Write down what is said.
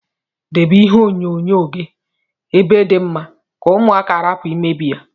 Debe ihe onyo nyo gi ebe di mma ka ụmụaka rapu imebi ya.